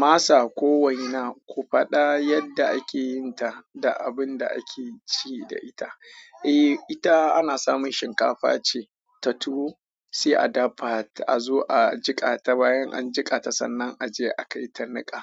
Masa ko waina ku faɗa yadda ake yin ta da abun da ake ci da ita. Eh, ita ana samun shinkafa ce ta tuwo sai a dafa ta, a zo a jiƙa ta. Bayan an jiƙa ta sannan a je a kai ta niƙa.